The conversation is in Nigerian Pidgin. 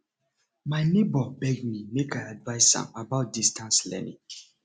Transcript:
my nebor beg me make i advice am about distance learning